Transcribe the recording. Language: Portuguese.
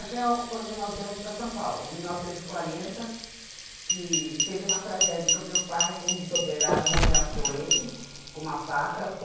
Até quando nós viemos para São Paulo, em mil novecentos e quarenta, que teve uma tragédia com o meu pai, que um dos operários, ameaçou ele com uma faca.